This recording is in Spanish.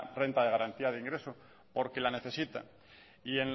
renta de garantía de ingreso porque la necesita y en